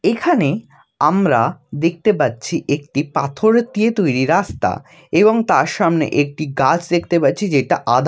এখানে আমরা দেখতে পাচ্ছি একটি পাথর দিয়ে তৈরি রাস্তা এবং তার সামনে একটি গাছ দেখতে পাচ্ছি যেটা আধা --